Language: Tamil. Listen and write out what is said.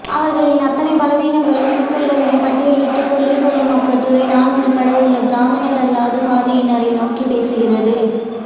அவர்களின் அத்தனை பலவீனங்களையும் சிக்கல்களையும் பட்டியலிட்டுச் சொல்லிச் செல்லும் அக்கட்டுரை நான் உட்பட உள்ள பிராமணரல்லாத சாதியினரை நோக்கிப் பேசுகிறது